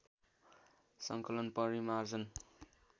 सङ्कलन परिमार्जन